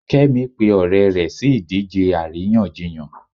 kemi pe ọrẹ rẹ si idije aríyànjiyàn